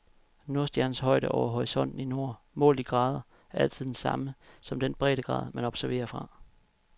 Nordstjernens højde over horisonten i nord, målt i grader, er altid den samme som den breddegrad, man observerer fra.